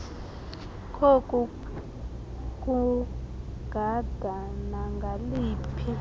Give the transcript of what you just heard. koku kugada nangaliphi